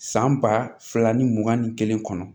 San ba fila ni mugan ni kelen kɔnɔ